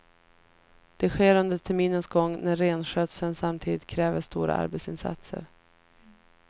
Det sker under terminens gång när renskötseln samtidigt kräver stora arbetsinsatser.